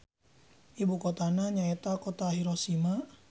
Ibukotana nyaeta Kota Hiroshima.